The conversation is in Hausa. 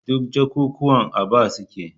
Duk jakukuwan a bar su a aji